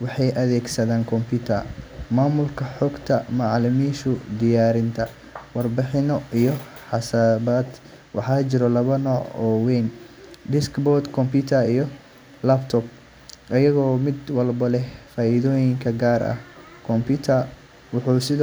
waxay u adeegsadaan computer maamulka xogta macaamiisha, diyaarinta warbixino, iyo xisaabaadka. Waxaa jira laba nooc oo waaweyn: desktop computer iyo laptop, iyadoo mid walba leh faa’iidooyin gaar ah. Computer wuxuu sidoo.